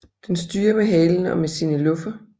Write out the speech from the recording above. Den styrer med halen og med sine luffer